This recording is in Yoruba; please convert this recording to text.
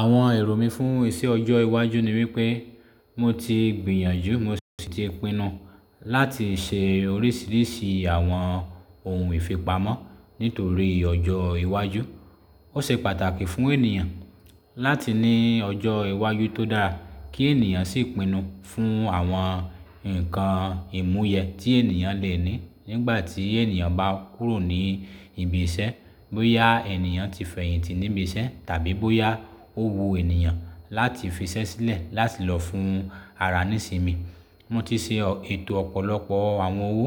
Àwọn èrò mí fún iṣẹ ọjọ́ iwájú ni wípé mo ti gbìyànjú, mo sì ti pinnu láti ṣe oríṣiríṣi àwọn ohun ìfipamọ́ nítorí ọjọ́ iwájú. Ó ṣe pàtàkì fún ènìyàn láti ní ọjọ́ iwájú tó dá kí ènìyàn sì pinnu fún àwọn ǹkan ìmúyẹ tí ènìyàn lè ní nígbàtí ènìyàn bá kúrò ní ibi iṣẹ́. Bóyá ènìyàn ti fẹ̀yìntì níbi iṣẹ́ tàbí bóyá ó wu ènìyàn láti fi iṣẹ́ sílẹ̀ láti lọ fún ara nísinmi. Mo ti ṣe ètò ọ̀pọ̀lọpọ̀ àwọn owó